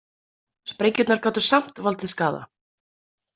Sprengjurnar gátu samt valdið skaða.